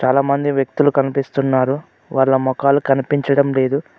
చాలామంది వ్యక్తులు కనిపిస్తున్నారు వాళ్ల మొఖాలు కనిపించడం లేదు.